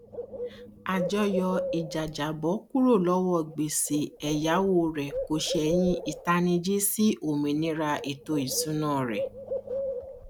àjọyọ ìjàjàbọ kúrò lọwọ gbèsè ẹyáwó rẹ kò sẹyìn ìtanijí sí òmìnira ètò ìsúná rẹ